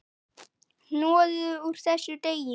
Hnoðið úr þessu deig.